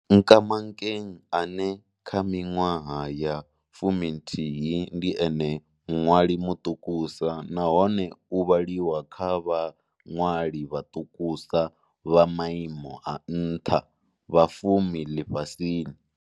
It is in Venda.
Nkamankeng ane, kha miṅwaha ya 11, ndi ene muṅwali muṱukusa nahone u vhaliwa kha vhaṅwali vhaṱukusa vha maimo a nṱha vha fumi ḽifhasini.